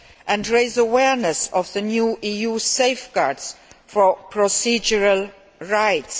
and raise awareness of the new EU safeguards for procedural rights.